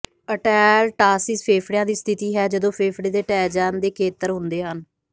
ਅਟੈਲਟਾਸੀਸ ਫੇਫੜਿਆਂ ਦੀ ਸਥਿਤੀ ਹੈ ਜਦੋਂ ਫੇਫੜੇ ਦੇ ਢਹਿ ਜਾਣ ਦੇ ਖੇਤਰ ਹੁੰਦੇ ਹਨ